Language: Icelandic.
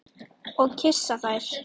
Og kyssa þær.